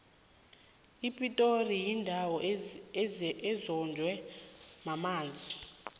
ipitori yindawo ezonjwe mamanzi